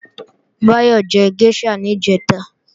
Báyọ̀ jẹ géṣà níjẹ̀ta